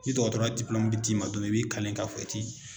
Ni dɔgɔtɔrɔya bɛ d'i ma dɔn min na i b'i kale ka fɔ i ti